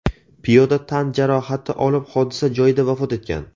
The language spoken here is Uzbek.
Piyoda tan jarohati olib hodisa joyida vafot etgan.